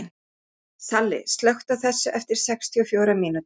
Salli, slökktu á þessu eftir sextíu og fjórar mínútur.